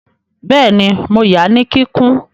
Bẹ́ẹ̀ni, mo ya ní kíkún